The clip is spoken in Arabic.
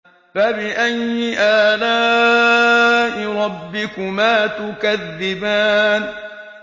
فَبِأَيِّ آلَاءِ رَبِّكُمَا تُكَذِّبَانِ